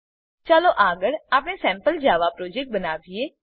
ચાલો આગળ આપણે સેમ્પલ જાવા પ્રોજેક્ટ બનાવીએ